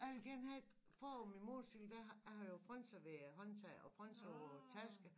Jeg vil gerne have et foran min motorcykel der har har jeg jo frynser ved håndtaget og frynser på tasken